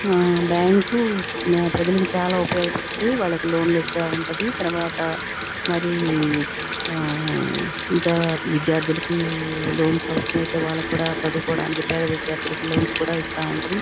ఆ బ్యాంకు ప్రజలకి చాలా ఉపయోగపడతది. వాళ్ళకి లోన్ లిస్తా ఉంటది. తరువాత మరి ఆ ఇంకా విద్యార్థులకి లోన్స్ అవసరమైతే వాళ్ళకి కూడా చదువుకోడానికి పేద విద్యార్థులకి లోన్స్ కూడా ఇస్తా ఉంటది.